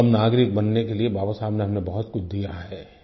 एक उत्तम नागरिक बनने के लिए बाबा साहिब ने हमने बहुत कुछ दिया है